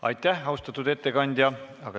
Aitäh, austatud ettekandja!